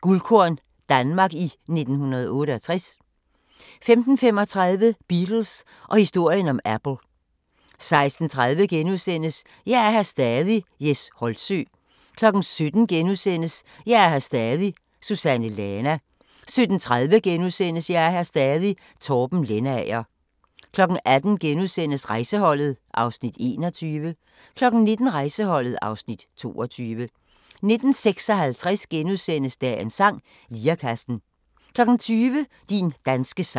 Guldkorn – Danmark i 1968 * 15:35: Beatles og historien om Apple 16:30: Jeg er her stadig – Jes Holtsø * 17:00: Jeg er her stadig – Susanne Lana * 17:30: Jeg er her stadig – Torben Lendager * 18:00: Rejseholdet (Afs. 21)* 19:00: Rejseholdet (Afs. 22) 19:56: Dagens sang: Lirekassen * 20:00: Din danske sang